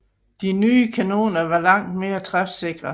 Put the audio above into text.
De nye kanoner var langt mere træfsikre